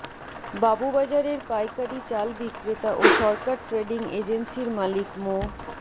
বাবুবাজারের পাইকারি চাল বিক্রেতা ও সরকার ট্রেডিং এজেন্সির মালিক মো